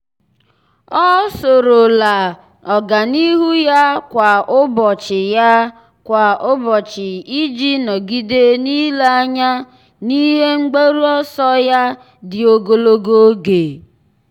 ọ́ soro la ọ́gànihu ya kwa ụ́bọ̀chị̀ ya kwa ụ́bọ̀chị̀ iji nọ́gídé n’ílé anya n’ihe mgbaru ọsọ ya dị ogologo oge.